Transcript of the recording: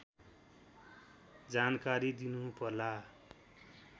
जानकारी दिनुपर्ला